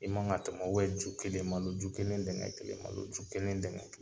I man ka tɛm'ɔ ju kelen, maloju kelen dɛŋɛ kelen, maloju kelen dɛŋ kelen.